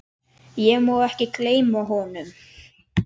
Ég má ekki gleyma honum.